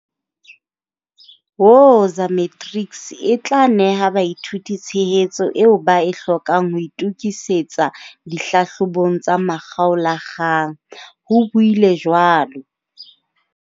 "Woza Matrics e tla neha baithuti tshehetso eo ba e hlokang ho itokisetsa dihlahlobong tsa makgaola-kgang, ho buile jwalo.